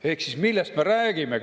Ehk siis millest me räägime?